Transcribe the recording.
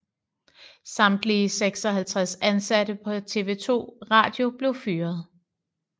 Samtlige 56 ansatte på TV 2 Radio blev fyret